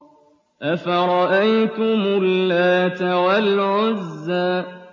أَفَرَأَيْتُمُ اللَّاتَ وَالْعُزَّىٰ